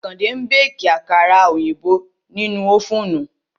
Àkàndé ń béèkì àkàrà òyìnbó nínú ófùnù